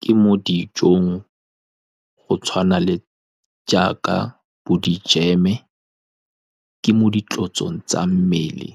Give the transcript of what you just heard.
Ke mo dijong go tshwana le jaaka bo di jam-e. Ke mo ditlotsong tsa mmele